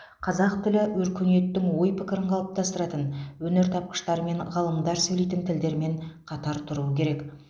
қазақ тілі өркениеттің ой пікірін қалыптастыратын өнертапқыштар мен ғалымдар сөйлейтін тілдермен қатар тұруы керек